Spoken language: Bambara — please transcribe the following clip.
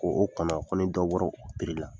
K'o kɔnɔ ko ni dɔ bɔr'o la.